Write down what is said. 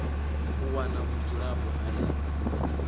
u wana vhudzulapo ha ḽi